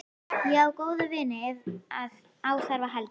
Ég á góða vini ef á þarf að halda.